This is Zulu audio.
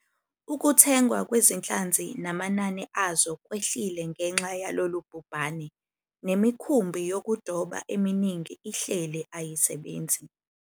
Ukuthengwa kwezinhlanzi namanani azo kwehlile ngenxa yalolu bhubhane, nemikhumbi yokudoba eminingi ihleli ayisebenzi.